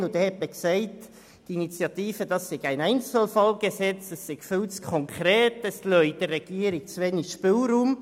es wurde gesagt, die Initiative sei ein Einzelfallgesetz, sei viel zu konkret und lasse der Regierung zu wenig Spielraum.